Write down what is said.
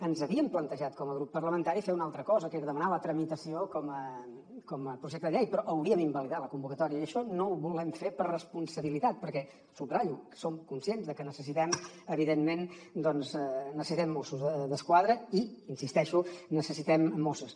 ens havíem plantejat com a grup parlamentari fer una altra cosa que era demanar la tramitació com a projecte de llei però hauríem invalidat la convocatòria i això no ho volem fer per responsabilitat perquè subratllo que som conscients de que evidentment doncs necessitem mossos d’esquadra i hi insisteixo necessitem mosses